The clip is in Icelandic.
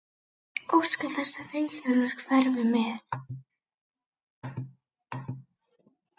Óska þess að Vilhjálmur hverfi með.